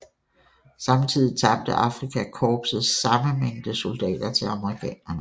Samtidig tabte Afrika korpset samme mængde soldater til amerikanerne